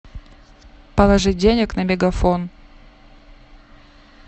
положить денег на мегафон